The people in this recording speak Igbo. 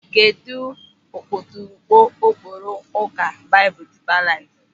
Kedụ ọkpụtọrọkpụ ụkpụrụ Ụka Baịbụl Dịịpa Laịf?